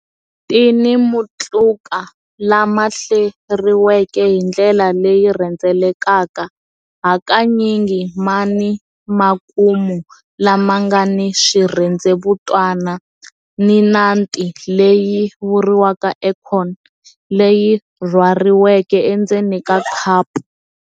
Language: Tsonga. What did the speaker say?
Ti ni matluka lama hleriweke hi ndlela leyi rhendzelekaka, hakanyingi ma ni makumu lama nga ni swirhendzevutana, ni nati leyi vuriwaka acorn, leyi rhwariweke endzeni ka khapu.